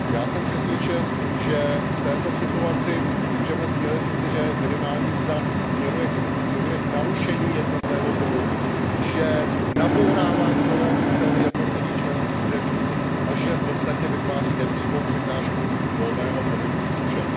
Já jsem přesvědčen, že v této situaci můžeme směle říci, že minimální mzda směřuje k narušení jednotného trhu, že nabourává mzdové systémy jednotlivých členských zemí a že v podstatě vytváří nepřímou překážku volného pohybu služeb.